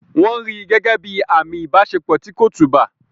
Wọ́n rí gẹ́gẹ́ bíi àmì ìbáṣepọ̀ tí kò tùbà.